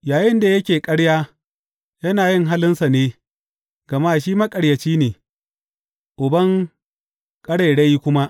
Yayinda yake ƙarya, yana yin halinsa ne, gama shi maƙaryaci ne, uban ƙarairayi kuma.